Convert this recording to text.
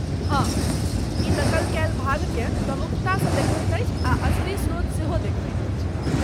हँ, ई नकल कयल भागकेँ प्रमुखतासँ देखबैत अछि आ असली स्रोत सेहो देखबैत अछि।